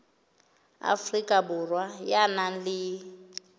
afrika borwa ya nang le